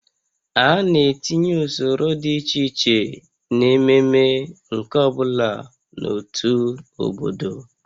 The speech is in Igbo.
A na-etinye usoro dị iche iche n'ememe nke ọ bụla n'otu obodo